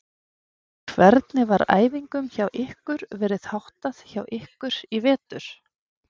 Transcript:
Hvernig var æfingum hjá ykkur verið háttað hjá ykkur í vetur?